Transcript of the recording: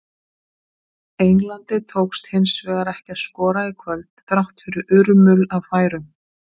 Englandi tókst hins vegar ekki að skora í kvöld, þrátt fyrir urmul af færum.